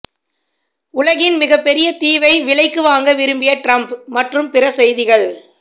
உலகின் மிகப்பெரிய தீவை விலைக்கு வாங்க விரும்பிய டிரம்ப் மற்றும் பிற செய்திகள்